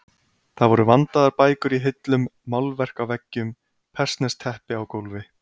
Það voru vandaðar bækur í hillum, málverk á veggjum, persneskt teppi á gólfi.